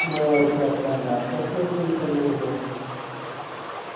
мэллоу театрально откашлялся и продолжил